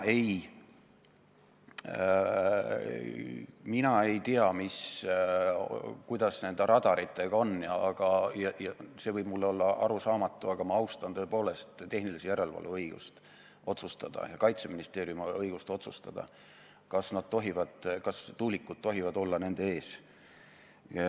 Mina ei tea, mis ja kuidas nende radaritega on, ja see võib olla mulle arusaamatu, aga ma tõepoolest austan Tehnilise Järelevalve Ameti ja Kaitseministeeriumi õigust otsustada, kas tuulikud tohivad olla nende ees.